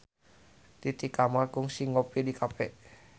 Titi Kamal kungsi ngopi di cafe